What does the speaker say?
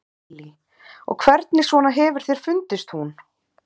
Lillý: Og hvernig svona hefur þér fundist hún?